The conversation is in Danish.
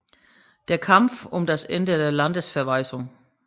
Der Kampf um das Ende der Landesverweisung